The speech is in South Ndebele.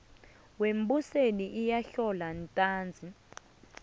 wembusweni iyahlolwa ntanzi